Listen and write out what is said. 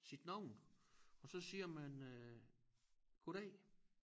Sit navn og så siger man øh goddag